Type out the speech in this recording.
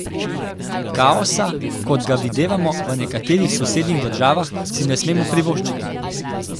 Kaosa, kot ga videvamo v nekaterih sosednjih državah, si ne smemo privoščiti.